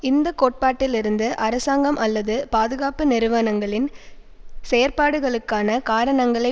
இந்த கோட்பாட்டில் இருந்து அரசாங்கம் அல்லது பாதுகாப்பு நிறுவனங்களின் செயப்பாடுகளுக்கான காரணங்களை